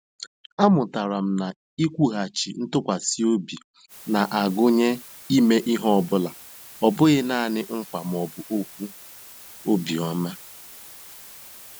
Amụtara m na iwughachi ntụkwasị obi na-agụnye ime ihe ọ bụla, ọ bụghị nanị nkwa ma ọ bụ okwu obiọma.